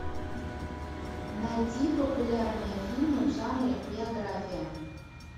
найди популярные фильмы в жанре биография